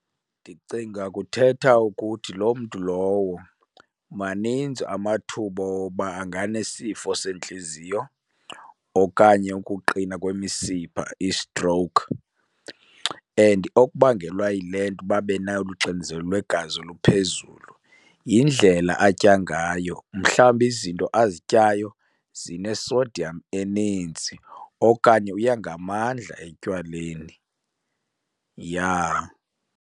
Ndicinga kuthetha ukuthi loo mntu lowo maninzi amathuba oba anganesifo sentliziyo okanye ukuqina kwemisipha, i-stroke. And okubangelwa yile nto uba abe nolu xinzelelo lwegazi oluphezulu yindlela atya ngayo, mhlawumbi izinto azityayo zine-sodium eninzi okanye uya ngamandla etywaleni, yah.